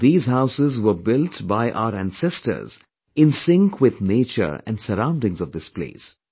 These houses were built by our ancestors in sync with nature and surroundings of this place"